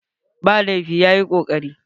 Ba laifi, ya yi kokari.